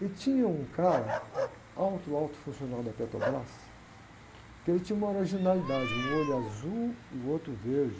E tinha um cara, alto, alto funcional da Petrobras, que ele tinha uma originalidade, um olho azul e o outro verde.